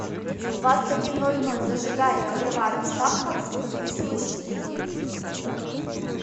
в двадцать один ноль ноль зажигай игровая приставка в звукозаписывающей студии